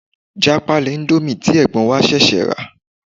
Já pálí íńdómì tí ẹ̀gbọ́n wa ṣẹ̀ṣẹ̀ rà.